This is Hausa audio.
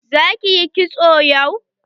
Za ki yi kitso yau?